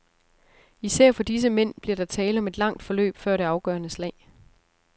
Især for disse mænd bliver der tale om et langt forløb før det afgørende slag.